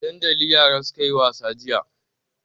A dandali yara suka yi wasa jiya.